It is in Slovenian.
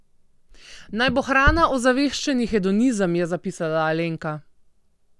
Naj bo hrana ozaveščeni hedonizem, je zapisala Alenka.